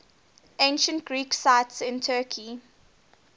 ancient greek sites in turkey